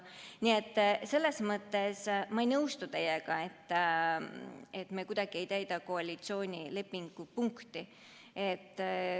Nii et ma ei nõustu teiega, et me kuidagi ei täida koalitsioonilepingu punkti.